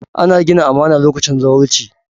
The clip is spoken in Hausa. Ana gina amana lokacin zawarci.